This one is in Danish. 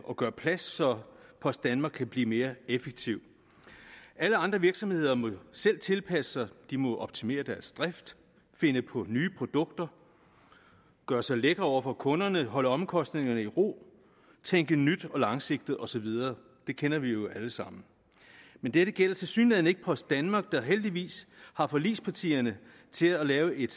og gøre plads så post danmark kan blive mere effektivt alle andre virksomheder må selv tilpasse sig de må optimere deres drift finde på nye produkter gøre sig lækre over for kunderne holde omkostningerne i ro tænke nyt og langsigtet og så videre det kender vi jo alle sammen men dette gælder tilsyneladende ikke post danmark der heldigvis har forligspartierne til at lave en